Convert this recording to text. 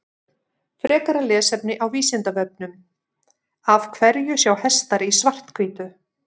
Frekara lesefni á Vísindavefnum Af hverju sjá hestar í svart-hvítu?